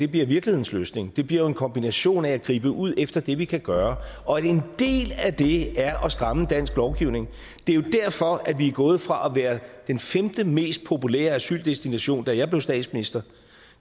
virkelighedens løsning det bliver en kombination af at gribe ud efter det vi kan gøre og en del af det er at stramme dansk lovgivning det er jo derfor at vi er gået fra at være den femte mest populære asyldestination da jeg blev statsminister